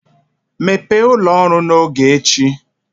Mepee ụlọ ọrụ n'oge echi